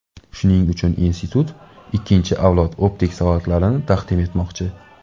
Shuning uchun institut ikkinchi avlod optik soatlarini taqdim etmoqchi.